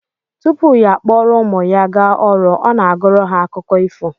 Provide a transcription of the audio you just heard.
Tupu ya akpọrọ ụmụ ya gaa ọrụ, ọ na-agụrụ ha akụkọ ifo